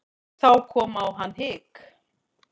Þá kom á hann hik.